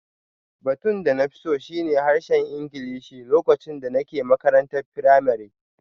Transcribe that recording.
Batun da na fi so shi ne harshen Ingilishi lokacin da nake makarantar firamare